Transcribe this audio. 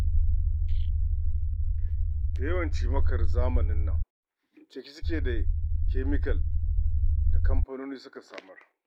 Da yawan cimakar wannan zamanin cike suke da kyamikal da kamfanoni suka samar.